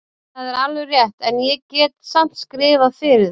Það er alveg rétt, en ég get samt skrifað fyrir þig.